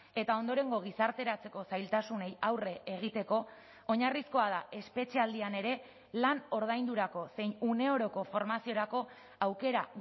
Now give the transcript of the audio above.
eta ondorengo gizarteratzeko zailtasunei aurre egiteko oinarrizkoa da espetxealdian ere lan ordaindurako zein une oroko formaziorako aukera